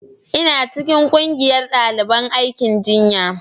ina cikin ƙungiyar daliban aikin jinya